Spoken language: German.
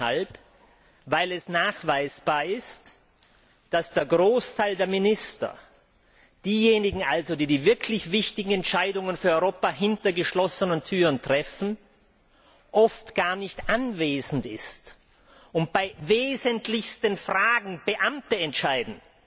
Faul deshalb, weil es nachweisbar ist, dass der Großteil der Minister diejenigen also, die die wirklich wichtigen Entscheidungen für Europa hinter geschlossenen Türen treffen oft gar nicht anwesend sind, und bei wesentlichsten Fragen Beamte entscheiden.